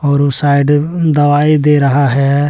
और उस साइड दवाई दे रहा है।